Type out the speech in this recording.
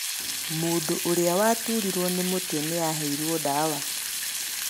Mũndũ ũrĩa waturirwo nĩ mũtwe nĩaheirwo ndawa